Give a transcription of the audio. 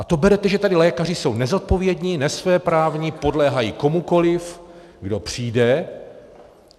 A to berete, že tedy lékaři jsou nezodpovědní, nesvéprávní, podléhají komukoliv, kdo přijde?